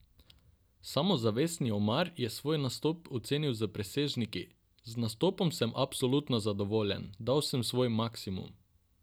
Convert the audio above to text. Samozavestni Omar je svoj nastop ocenil s presežniki: 'Z nastopom sem absolutno zadovoljen, dal sem svoj maksimum.